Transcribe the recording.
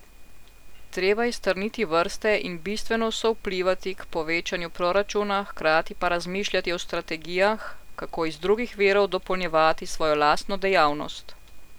Treba je strniti vrste in bistveno sovplivati k povečanju proračuna, hkrati pa razmišljati o strategijah, kako iz drugih virov dopolnjevati svojo lastno dejavnost.